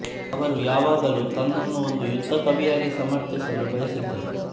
ಅವರು ಯಾವಾಗಲೂ ತನ್ನನ್ನು ಒಂದು ಯುದ್ಧ ಕವಿಯಾಗಿ ಸಮರ್ಥಿಸಲು ಬಯಸಿದ್ದರು